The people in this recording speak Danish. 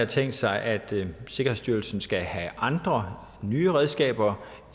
tænkt sig at sikkerhedsstyrelsen skal have andre nye redskaber